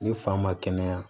Ni fa ma kɛnɛya